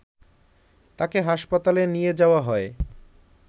তাকে হাসপাতালে নিয়ে যাওয়া হয়